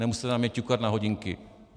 Nemusíte na mě ťukat na hodinky.